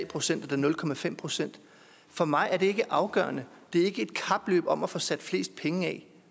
procent eller nul procent for mig er det ikke afgørende det er ikke et kapløb om at få sat fleste penge af